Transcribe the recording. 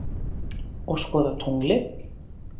Og skoða tunglið.